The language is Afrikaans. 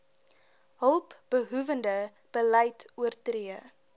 hulpbehoewende beleid oortree